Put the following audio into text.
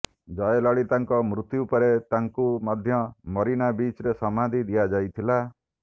ଜୟଲଳିତାଙ୍କ ମୃତ୍ୟୁ ପରେ ତାଙ୍କୁ ମଧ୍ୟ ମରିନା ବିଚରେ ସମାଧି ଦିଆଯାଇଥିଲା